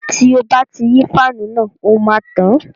Tí o bá ti yí fáànù náà, ó máa tàn